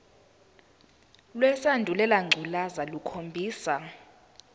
lesandulela ngculazi lukhombisa